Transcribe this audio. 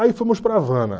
Aí fomos para Havana.